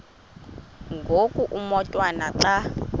ngoku umotwana xa